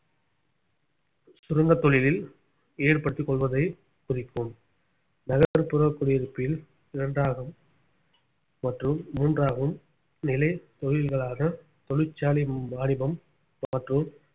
சுரங்கத் தொழிலில் ஈடுபடுத்திக் கொள்வதை குறிக்கும் நகர்ப்புறக் குடியிருப்பில் இரண்டாம் மற்றும் மூன்றாகும் நிலை தொழில்களாக தொழிற்சாலை வாணிபம் மற்றும்